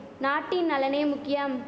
நாட்டின் நலனே முக்கியம்